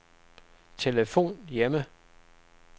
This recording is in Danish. telefon hjemme